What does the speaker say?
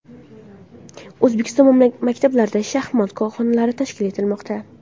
O‘zbekiston maktablarida shaxmat xonalari tashkil etilmoqda.